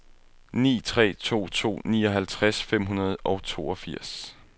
ni tre to to nioghalvtreds fem hundrede og toogfirs